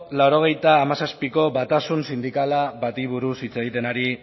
laurogeita hamazazpiko batasun sindikal bati buruz hitz egiten ari